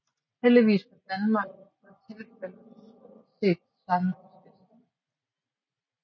Heldigvis for Danmark var tilfældet stort set det samme hos gæsterne